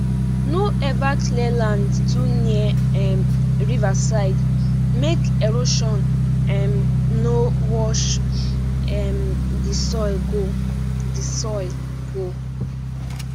no ever clear land too near um river side make erosion um no wash um the soil go the soil go